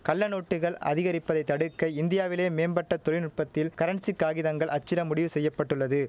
கள்ளநோட்டுகள் அதிகரிப்பதைத் தடுக்க இந்தியாவிலேயே மேம்பட்ட தொழில்நுட்பத்தில் கரன்சி காகிதங்கள் அச்சிட முடிவு செய்ய பட்டுள்ளது